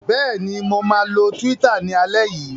Bẹ́ẹ̀ ni, mo máa lo Twitter ní alẹ́ yìí.